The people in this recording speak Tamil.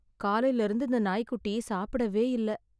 காலைல இருந்து இந்த நாய்க்குட்டி சாப்பிடவே இல்ல